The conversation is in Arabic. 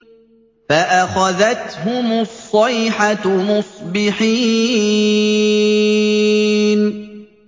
فَأَخَذَتْهُمُ الصَّيْحَةُ مُصْبِحِينَ